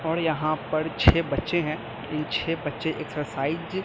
और यहां पर छे बच्चे हैं इन छे बच्चे एक्सरसाइज --